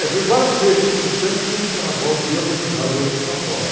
É, fui várias vezes, porque Santos tinha um carnaval bem organizado antes de São Paulo.